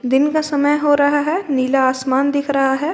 दिन का समय हो रहा है नीला आसमान दिख रहा है।